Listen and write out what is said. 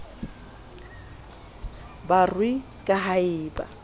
barui ka ha e ba